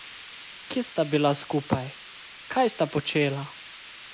Kje sta bila skupaj, kaj sta počela?